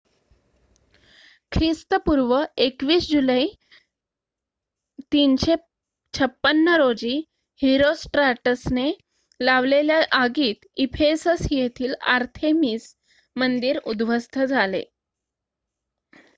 ख्रिस्तपूर्व २१ जुलै ३५६ रोजी हिरोस्ट्राटसने लावलेल्या आगीत इफेसस येथील आर्थेमिस मंदिर उध्वस्त झाले